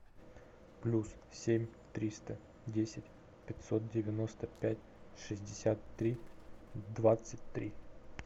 плюс семь триста десять пятьсот девяносто пять шестьдесят три двадцать три